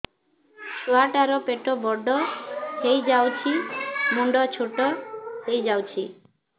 ଛୁଆ ଟା ର ପେଟ ବଡ ହେଇଯାଉଛି ମୁଣ୍ଡ ଛୋଟ ହେଇଯାଉଛି